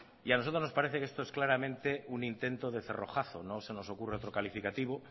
a nosotros nos parece que esto es claramente un intento de cerrojazo no se nos ocurre otro calificativo